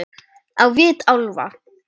Á vit álfa